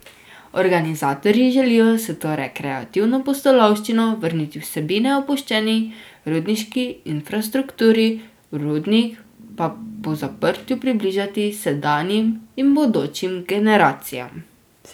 Organizatorji želijo s to rekreativno pustolovščino vrniti vsebine opuščeni rudniški infrastrukturi, rudnik pa po zaprtju približati sedanjim in bodočim generacijam.